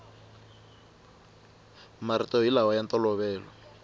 marito hi lama ya ntolovelo